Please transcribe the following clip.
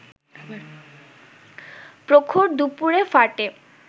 প্রখর দুপুরে ফাটে